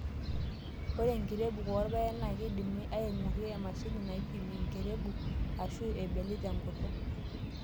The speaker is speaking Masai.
Ore enkirebuk oorpaek naa keidimi angurarie emashini naipim enkirebuk ashua ebeli tenkut.